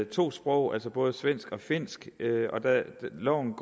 to sprog altså både svensk og finsk og loven